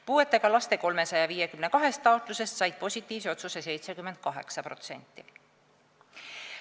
Puudega laste 352 taotlusest said positiivse otsuse 78%.